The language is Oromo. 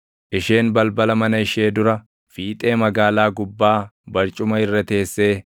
Isheen balbala mana ishee dura, fiixee magaalaa gubbaa barcuma irra teessee